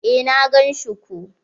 Eh na gan shi ko.